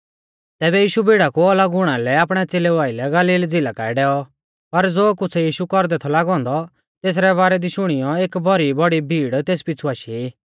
तैबै यीशु भीड़ा कु अलग हुणा लै आपणै च़ेलेऊ आइलै गलील झ़िला काऐ डैऔ पर ज़ो कुछ़ यीशु कौरदै थौ लागौ औन्दौ तेसरै बारै दी शुणियौ एक भौरी बौड़ी भीड़ तेस पीछ़ु आशी